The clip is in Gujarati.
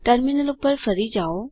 ટર્મિનલ ઉપર ફરી જાઓ